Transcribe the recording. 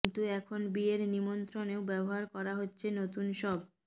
কিন্তু এখন বিয়ের নিমন্ত্রণেও ব্যবহার করা হচ্ছে নতুন সব